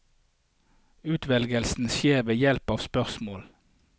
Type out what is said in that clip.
Utvelgelsen skjer ved hjelp av spørsmål.